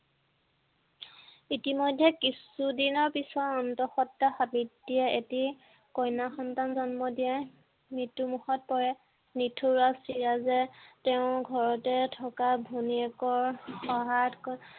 ইতিমধ্যে কিছু দিনৰ পিছত অন্তঃসন্তা সাৱিত্ৰীয়ে এটি কন্যা সন্তান জন্ম দিয়েই মৃত্যু মুখত পৰে ছিৰাজে তেওঁৰ ঘৰতে থকা ভনীয়েকৰ সহায়ত